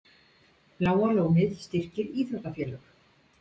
Bláa lónið styrkir íþróttafélög